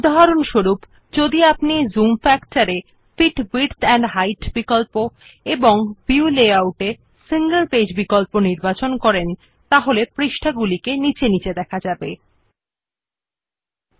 four example if we select the fit width and height option under zoom factor then click on the single page option under the view layout option and finally click on the OK button we see that the pages are displayed one below the other